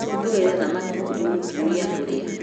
Tũgĩre thamaki kwĩ mũtumia ũrĩa